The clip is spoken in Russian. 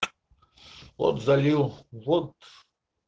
от залил вот